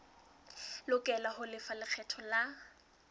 lokela ho lefa lekgetho la